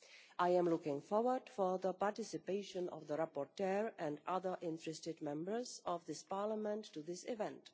I am looking forward to the participation of the rapporteur and other interested Members of this Parliament in this event.